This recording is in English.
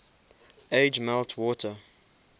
age melt water